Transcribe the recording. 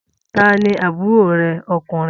Ta ni àbúrò rẹ ọkùnrin?